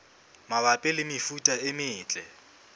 mabapi le mefuta e metle